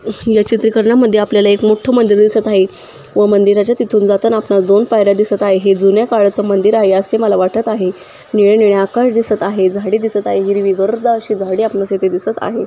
या चित्रीकरनामधे आपल्याला एक मोठ मंदिर दिसत आहे व मंदीराच्या तिथुन जाताना आपल्याला दोन पायर्‍या दिसत आहे है जुन्या काळाच मंदिर आहे असे मला वाटत आहे निळे-निळे आकाश दिसत आहे झाडे दिसत आहे हिरवी घर दार अशी झाडे आपणास इथे दिसत आहे.